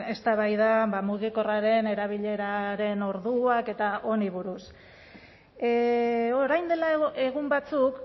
eztabaida mugikorraren erabileraren orduak eta honi buruz orain dela egun batzuk